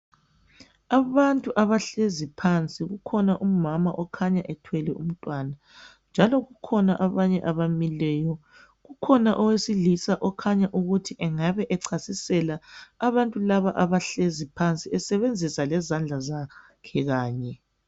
Abantu abahlezi phansi kukhona umama okhanya ethwele umntwana njalo kukhona abanye abamileyo ukhona owesilisa okhanya ukuthi engabe echasisela abantu laba abahlezi phansi esebenzisa lezandla zakhe kanye.